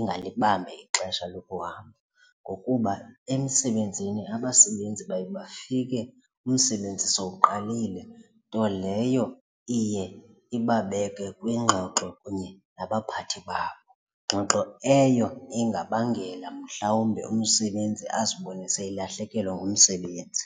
ingalibambi ixesha lokuhamba ngokuba emisebenzini abasebenzi baye bafike umsebenzi sowuqalile nto leyo iye ibabeke kwiingxoxo kunye nabaphathi babo, ngxoxo eyo ingabangela mhlawumbe umsebenzi azibone seyelahlekelwe ngumsebenzi.